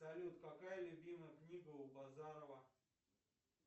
салют какая любимая книга у базарова